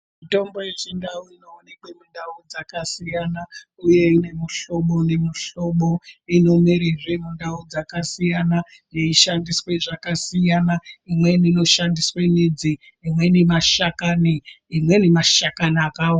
Mitombo yechindau inoonekwa mundau dzakasiyana uye ine mushobo nemushobo inomera zve mundau dzakasiyana yeishandiswa zvakasiyana imwnei inoshandiswa midzi imwnei mashakani.